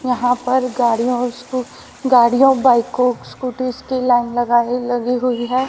यहां पर गाड़ीयो और उसको गाड़ियों बाइको स्कूटी की लाइन लगाए लगी हुई है।